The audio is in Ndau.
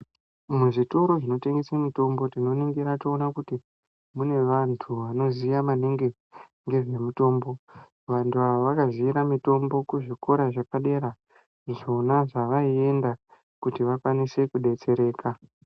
Muzvitoro zvinotengesa mitombo tinoningira toona kuti mune vantu vanoziya maningi ngezvemitombo vantu ava vakaziyira mutombo kuzvikora zvepadera zvona zvavaienda kuti vakwanise kudetsereka.